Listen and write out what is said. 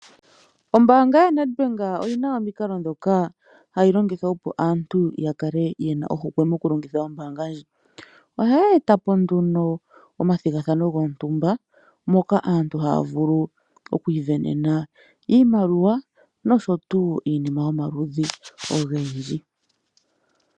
Ombaanga yaNedbank oyina omikalo ndhoka hayi longitha opo aantu yakale yena ohokwe moku longitha ombaanga ndjika. Ohaye etapo nduno omathimbo gontumba moka aantu haya vulu oku isindanena iimaliwa nosho tuu iinima yomaludhi ogendji.